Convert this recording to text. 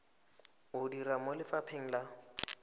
o dira mo lefapheng la